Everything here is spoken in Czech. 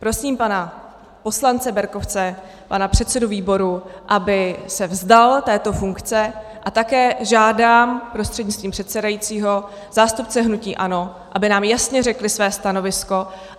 Prosím pana poslance Berkovce, pana předsedu výboru, aby se vzdal této funkce, a také žádám prostřednictvím předsedajícího zástupce hnutí ANO, aby nám jasně řekli své stanovisko.